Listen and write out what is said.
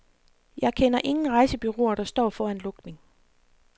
Jeg kender ingen rejsebureauer, der står foran lukning.